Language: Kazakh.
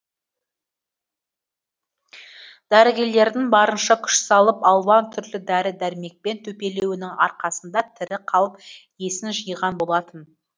дәрігерлердің барынша күш салып алуан түрлі дәрі дәрмекпен төпелеуінің арқасында тірі қалып есін жиған болатын